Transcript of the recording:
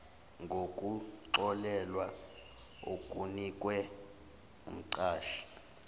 ngokuxolelwa okunikwe umqashi